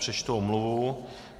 Přečtu omluvu.